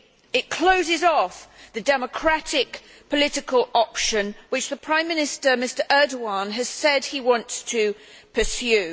It closes off the democratic political option which the Prime Minister, Mr Erdoğan, has said he wants to pursue.